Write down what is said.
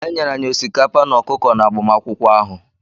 E nyere anyị osikapa na ọkụkọ n'agbamakwụkwọ ahụ.